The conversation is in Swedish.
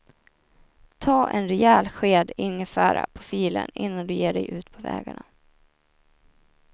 Ta en rejäl sked ingefära på filen innan du ger dig ut på vägarna.